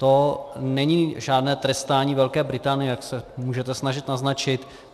To není žádné trestání Velké Británie, jak se můžete snažit naznačit.